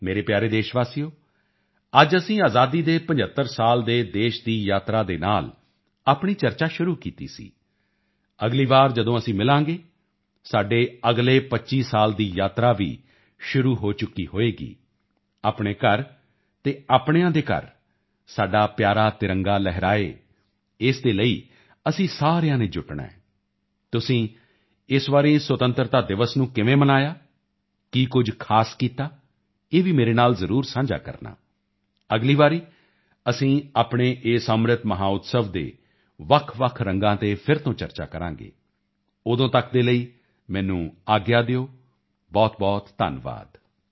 ਮੇਰੇ ਪਿਆਰੇ ਦੇਸ਼ਵਾਸੀਓ ਅੱਜ ਅਸੀਂ ਆਜ਼ਾਦੀ ਦੇ 75 ਸਾਲ ਦੇ ਦੇਸ਼ ਦੀ ਯਾਤਰਾ ਦੇ ਨਾਲ ਆਪਣੀ ਚਰਚਾ ਸ਼ੁਰੂ ਕੀਤੀ ਸੀ ਅਗਲੀ ਵਾਰ ਜਦੋਂ ਅਸੀਂ ਮਿਲਾਂਗੇ ਸਾਡੇ ਅਗਲੇ 25 ਸਾਲਾਂ ਦੀ ਯਾਤਰਾ ਵੀ ਸ਼ੁਰੂ ਹੋ ਚੁੱਕੀ ਹੋਵੇਗੀ ਆਪਣੇ ਘਰ ਅਤੇ ਆਪਣਿਆਂ ਦੇ ਘਰ ਸਾਡਾ ਪਿਆਰਾ ਤਿਰੰਗਾ ਲਹਿਰਾਏ ਇਸ ਦੇ ਲਈ ਅਸੀਂ ਸਾਰਿਆਂ ਨੇ ਜੁਟਣਾ ਹੈ ਤੁਸੀਂ ਇਸ ਵਾਰੀ ਸੁਤੰਤਰਤਾ ਦਿਵਸ ਨੂੰ ਕਿਵੇਂ ਮਨਾਇਆ ਕੀ ਕੁਝ ਖਾਸ ਕੀਤਾ ਇਹ ਵੀ ਮੇਰੇ ਨਾਲ ਜ਼ਰੂਰ ਸਾਂਝਾ ਕਰਨਾ ਅਗਲੀ ਵਾਰੀ ਅਸੀਂ ਆਪਣੇ ਇਸ ਅੰਮ੍ਰਿਤ ਮਹੋਤਸਵ ਦੇ ਵੱਖਵੱਖ ਰੰਗਾਂ ਤੇ ਫਿਰ ਤੋਂ ਚਰਚਾ ਕਰਾਂਗੇ ਉਦੋਂ ਤੱਕ ਦੇ ਲਈ ਮੈਨੂੰ ਆਗਿਆ ਦਿਓ ਬਹੁਤਬਹੁਤ ਧੰਨਵਾਦ